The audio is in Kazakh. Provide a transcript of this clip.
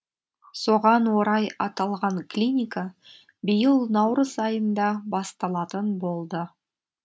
соған орай аталған клиника биыл наурыз айында басталатын болды